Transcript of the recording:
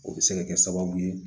O bɛ se ka kɛ sababu ye